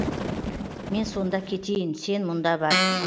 мен сонда кетейін сен мұнда бар